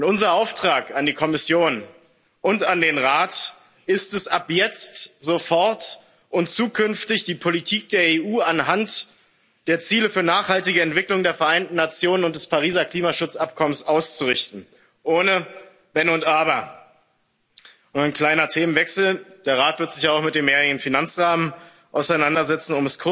Unser Auftrag an die Kommission und an den Rat ist es, ab jetzt sofort und zukünftig die Politik der EU an den Zielen für nachhaltige Entwicklung der Vereinten Nationen und des Pariser Klimaschutzabkommens auszurichten, ohne Wenn und Aber. Und ein kleiner Themenwechsel Der Rat wird sich auch mit dem mehrjährigen Finanzrahmen auseinandersetzen.